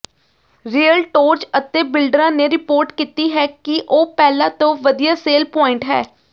realtors ਅਤੇ ਬਿਲਡਰਾਂ ਨੇ ਰਿਪੋਰਟ ਕੀਤੀ ਹੈ ਕਿ ਉਹ ਪਹਿਲਾਂ ਤੋਂ ਵਧੀਆ ਸੇਲ ਪੁਆਇੰਟ ਹੈ